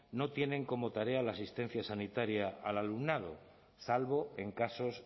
no tienen como tarea la asistencia sanitaria al alumnado salvo en casos